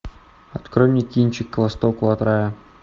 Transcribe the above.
открой мне кинчик к востоку от рая